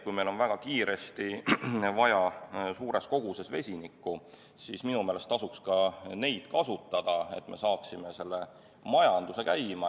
Kui meil on väga kiiresti vaja suures koguses vesinikku, siis minu meelest tasuks ka neid kasutada, et me saaksime selle majanduse käima.